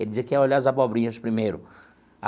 Ele dizia que ia olhar as abobrinhas primeiro.